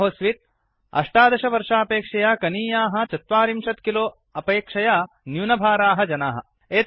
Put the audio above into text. आहोस्वित् १८ वर्षापेक्षया कनीयाः ४० किलो अपेक्षया न्यूनभाराः जानाः